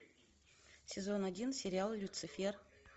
сезон один сериал люцефер